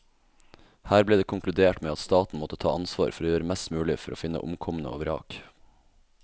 Her ble det konkludert med at staten måtte ta ansvar for å gjøre mest mulig for å finne omkomne og vrak.